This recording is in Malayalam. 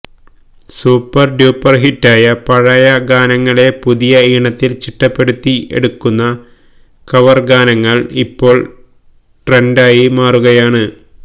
സൂപ്പർ ഡ്യൂപ്പർ ഹിറ്റായ പഴയ ഗാനങ്ങളെ പുതിയ ഈണത്തിൽ ചിട്ടപ്പെടുത്തി എടുക്കുന്ന കവർ ഗാനങ്ങൾ ഇപ്പോൾ ട്രെന്റായി മാറുകയാണ്